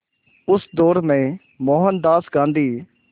उस दौर में मोहनदास गांधी